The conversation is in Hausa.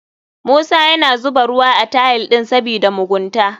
Musa yana zuba ruwa a tiles ɗin sabida mugunta.